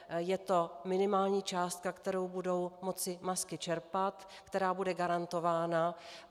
Je to minimální částka, kterou budou moci MASKy čerpat, která bude garantována.